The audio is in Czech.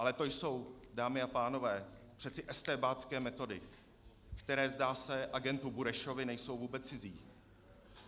Ale to jsou, dámy a pánové, přeci estébácké metody, které, zdá se, agentu Burešovi nejsou vůbec cizí.